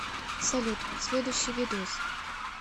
салют следующий видос